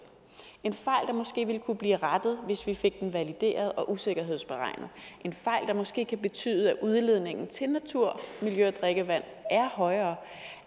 en fejl der måske ville kunne blive rettet hvis vi fik den valideret og usikkerhedsberegnet en fejl der måske kan betyde at udledningen til natur miljø og drikkevand er højere